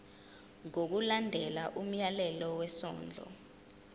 ngokulandela umyalelo wesondlo